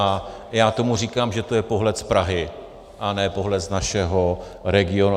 A já tomu říkám, že to je pohled z Prahy a ne pohled z našeho regionu.